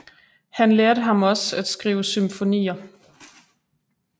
Han lærte ham også at skrive symfonier